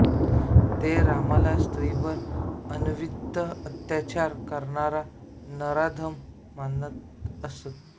ते रामाला स्त्रीवर अनन्वित अत्याचार करणारा नराधम मानत असत